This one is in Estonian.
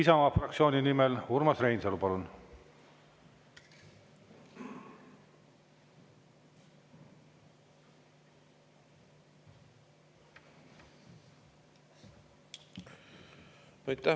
Isamaa fraktsiooni nimel Urmas Reinsalu, palun!